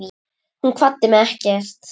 Hún kvaddi mig ekki.